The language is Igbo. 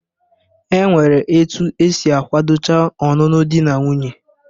E nwere etu esi akwadocha ọnụnụ dị na nwuńye